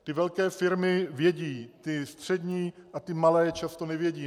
Ty velké firmy vědí, ty střední a ty malé často nevědí.